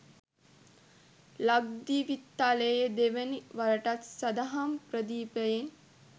ලක්දිවිතලය දෙවන වරටත් සදහම් ප්‍රදීපයෙන්